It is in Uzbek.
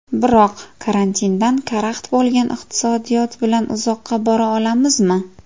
Biroq karantindan karaxt bo‘lgan iqtisodiyot bilan uzoqqa bora olamizmi?